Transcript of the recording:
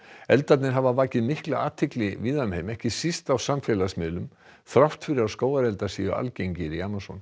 eldarnir hafa vakið mikla athygli víða um heim ekki síst á samfélagsmiðlum þrátt fyrir að skógareldar séu algengir í Amazon